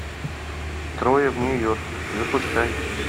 трое в нью йорке запускай